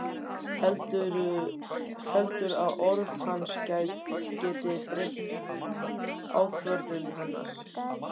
Heldur að orð hans geti breytt ákvörðun hennar.